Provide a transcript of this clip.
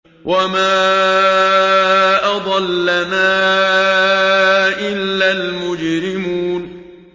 وَمَا أَضَلَّنَا إِلَّا الْمُجْرِمُونَ